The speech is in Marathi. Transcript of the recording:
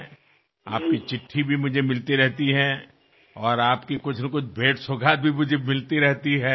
तुमची पत्रे सुद्धा मला मिळत राहतात आणि तुम्ही पाठवलेल्या भेटीसुद्धा मला मिळत राहतात